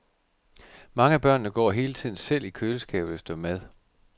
Mange af børnene går hele tiden selv i køleskabet efter mad.